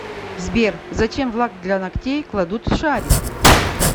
сбер зачем в лак для ногтей кладут шарик